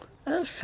Eu se